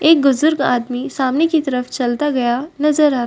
एक गुजुर्ग आदमी सामने की तरफ चलता गया नजर आ --